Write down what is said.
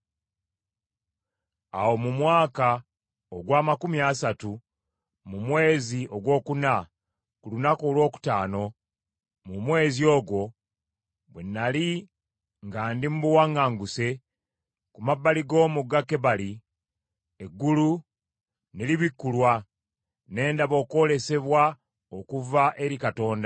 Awo mu mwaka ogw’amakumi asatu mu mwezi ogwokuna ku lunaku olwokutaano mu mwezi ogwo, bwe nnali nga ndi mu buwaŋŋanguse ku mabbali g’omugga Kebali, eggulu ne libikkulwa, ne ndaba okwolesebwa okuva eri Katonda.